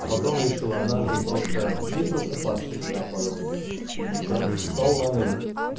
а потом решил однажды просто не просыпаться когда падал вниз и ничего встал на ноги